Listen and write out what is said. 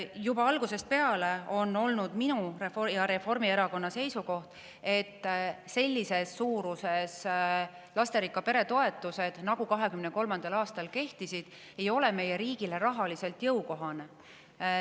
Juba algusest peale on olnud minu ja Reformierakonna seisukoht, et sellises suuruses lasterikka pere toetused, nagu 2023. aastal kehtisid, ei ole meie riigile rahaliselt jõukohased.